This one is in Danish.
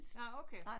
Nåh okay